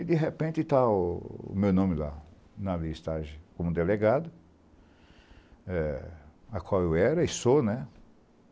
E, de repente, está o meu nome lá, na listagem, como delegado, eh a qual eu era e sou, né?